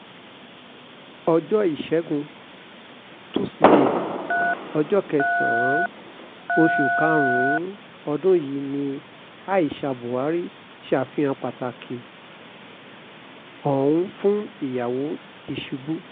ọjọ́ ìṣègùn tusidee ọjọ́ kẹsàn-án oṣù karùn-ún ọdún yìí ni aisha buhari ṣàfihàn pàtàkì ọ̀hún fún ìyàwó tìṣubú